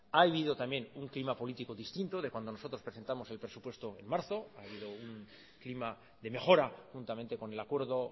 ha habido también un clima político distinto de cuando nosotros presentamos el presupuesto en marzo ha habido un clima de mejora juntamente con el acuerdo